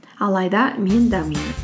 алайда мен дамимын